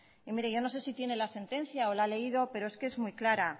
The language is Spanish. y mire yo no sé si tiene la sentencia o la ha leído pero es que es muy clara